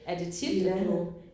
Er det tit du?